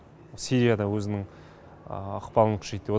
сирия да өзінің ықпалын күшейтті